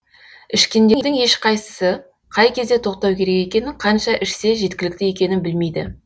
ішкендердің ешқайсысы қай кезде тоқтау керек екенін қанша ішсе жеткілікті екенін білмейді